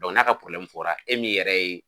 n'a ka fɔra e min yɛrɛ ye